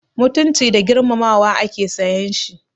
Mutunci da girmamawa ake sayan shi.